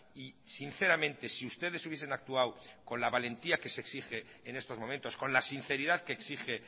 y sinceramente si ustedes hubiesen actuado con la valentía que se exige en estos momentos con la sinceridad que exige